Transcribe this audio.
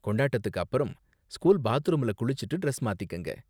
கொண்டாட்டத்துக்கு அப்பறம், ஸ்கூல் பாத்ரூம்ல குளிச்சுட்டு டிரெஸ் மாத்திக்கங்க.